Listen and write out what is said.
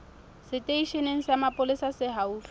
seteisheneng sa mapolesa se haufi